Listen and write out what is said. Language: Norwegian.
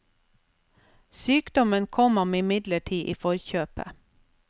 Sykdommen kom ham imidlertid i forkjøpet.